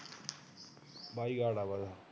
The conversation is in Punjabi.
ਬਾਈਕਾਟ ਐ